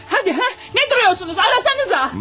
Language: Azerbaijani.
Hadi, hə, nə durursunuz, axtarasanıza?